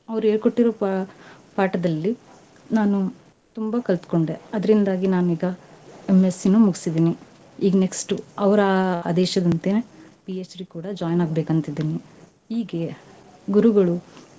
ಅವ್ರ್ ಹೇಳ್ಕೊಟ್ಟಿರೋ ಪಾ~ ಪಾಠದಲ್ಲಿ ನಾನು ತುಂಬಾ ಕಲ್ತ್ಕೊಂಡೆ, ಅದ್ರಿಂದಾಗಿ ನಾನೀಗಾ MSc ನೂ ಮುಗ್ಸಿದೀನಿ. ಈಗ್ next ಅವ್ರ ಆದೇಶದಂತೆ Ph.D. ಕೂಡಾ join ಆಗ್ಬೇಕಂತಿದಿನಿ. ಈಗೇ, ಗುರುಗಳು.